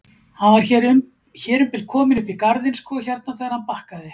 Hann var hér um bil kominn upp í garðinn sko hérna þegar hann bakkaði.